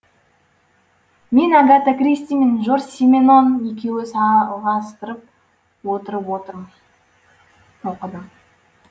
мен агата кристи мен жорж сименон екеуін саалғастырып отырып оқыдым